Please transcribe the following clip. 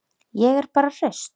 Ég er bara hraust.